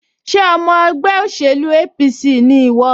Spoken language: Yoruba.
Ṣé ọmọ ẹgbẹ́ òṣèlú APC ni ìwọ?